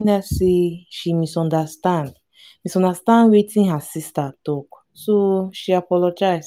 say she misunderstand misunderstand wetin her sister talk so she apologize